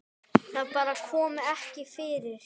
Það bara kom ekki fyrir.